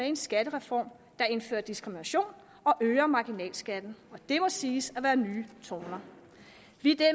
en skattereform der indfører diskrimination og øger marginalskatten det må siges at være nye toner vi